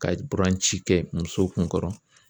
Ka buranci kɛ muso kun kɔrɔ.